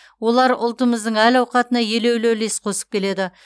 олар ұлтымыздың әл ауқатына елеулі үлес қосып келеді